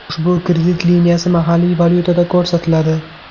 Ushbu kredit liniyasi mahalliy valyutada ko‘rsatiladi.